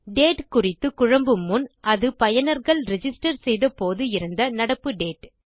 date குறித்து குழம்பும் முன் அது பயனர்கள் ரிஜிஸ்டர் செய்த போது இருந்த நடப்பு டேட்